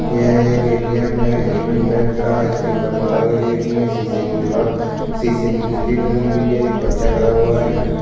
यह एक _ATM है युनियन बैंक का इसके ऊपर माला लगी हुई हैं शीशे की दिवाल शीशे की खिड़की लगी हुई है। एक बच्चा खड़ा हुआ है।